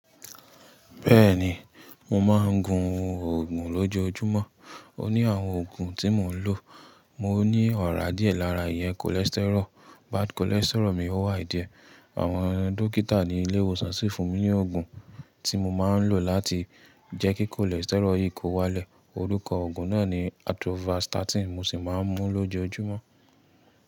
Bẹ́ẹ̀ni, mo máa ń gun òògùn lójoojúmọ́. Ó ní àwọn òògùn tí mò ń lò. Mo ní ọ̀rá díẹ̀ lára yẹn cholesterol, bad cholesterol mi o high díẹ̀. Àwọn dókítà ní ilé ìwòsàn sì fún mi ní òògùn tí mo máa ń lò láti jẹ́ kí cholesterol yìí kó wálẹ̀. Orúkọ òògùn náà ni Atorvastatin, mo sì máa ń mú lójoojúmọ́